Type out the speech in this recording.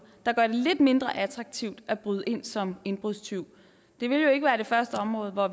der gør det lidt mindre attraktivt at bryde ind som indbrudstyv det vil jo ikke være det første område hvor